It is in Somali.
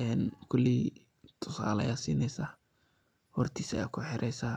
een koley tusale ayad sineysa, hortisa aya kuxireysa.